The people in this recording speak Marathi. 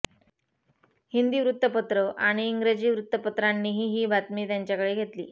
हिंदी वृत्तपत्र आणि इंग्रजी वृत्तपत्रांनीही ही बातमी त्यांच्याकडे घेतली